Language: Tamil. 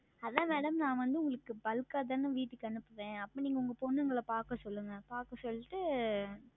அது தான் Madam நான் வந்து உங்களுக்கு Bulk ஆ தானே வீட்டுக்கு அனுப்புவேன் அப்பொழுது நீங்கள் உங்கள் பிள்ளைகளை பார்க்க சொல்லுங்கள் பார்க்க சொல்லி விட்டு